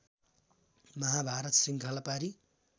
माहाभारत श्रृङ्खला पारी